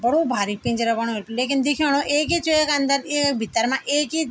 बड़ू भारिक पिंजरा बण्यु लेकिन दिखेणु एक ही च वेक अन्दर एक भीतर मा एक ही --